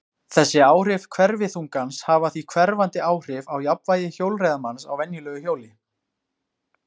þessi áhrif hverfiþungans hafa því hverfandi áhrif á jafnvægi hjólreiðamanns á venjulegu hjóli